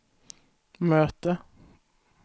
möte